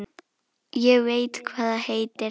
Ég veit hvað það heitir